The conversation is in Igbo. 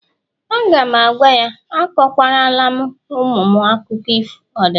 A ga'm-agwa ya, akụkwa lara ụmụ m akụkọ ọdịnala